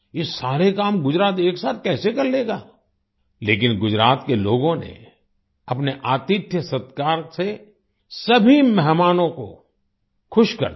ये सारे काम गुजरात एकसाथ कैसे कर लेगा लेकिन गुजरात के लोगों ने अपने आतिथ्यसत्कार से सभी मेहमानों को खुश कर दिया